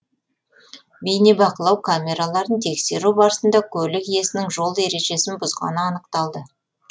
бейнебақылау камераларын тексеру барысында көлік иесінің жол ережесін бұзғаны анықталды